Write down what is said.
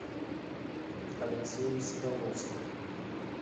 алексеем соколовским